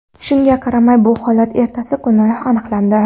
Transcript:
Shunga qaramay, bu holat ertasi kuni aniqlandi.